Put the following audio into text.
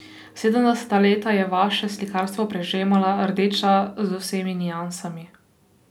Sedemdeseta leta je vaše slikarstvo prežemala rdeča z vsemi niansami.